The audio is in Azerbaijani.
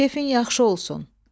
Kefin yaxşı olsun.